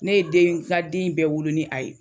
Ne ye den n ka den in bɛɛ wolo ni a ye